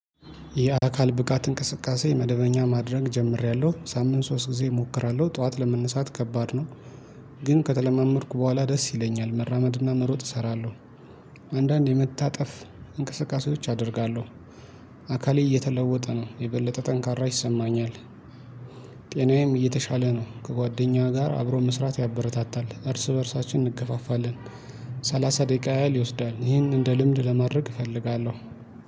የአካል ብቃት እንቅስቃሴ መደበኛ ማድረግ ጀምሬያለሁ ሳምንት ሶስት ጊዜ እሞክራለሁ ጠዋት ለመነሳት ከባድ ነው። ግን ከተለማመድኩ በኋላ ደስ ይለኛል መራመድና መሮጥ እሰራለሁ። አንዳንድ የመታጠፍ እንቅስቃሴዎች አደርጋለሁ። አካሌ እየተለወጠ ነው የበለጠ ጠንካራ ይሰማኛል። ጤናዬም እየተሻለ ነው። ከጓደኛ ጋር አብሮ መስራት ያበረታታል እርስ በእርሳችን እንገፋፋለን። ሰላሳ ደቂቃ ያህል ይወስዳል ይሄን እንደ ልምድ ለማድረግ እፈልጋለሁ